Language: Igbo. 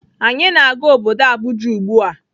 Anyị na-aga obodo Abuja ugbua.